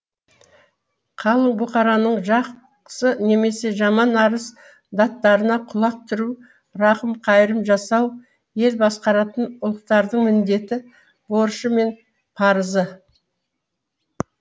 қалың бұқараның жақсы немесе жаман арыз даттарына құлақ түру рақым қайырым жасау ел басқаратын ұлықтардың міндеті борышы мен парызы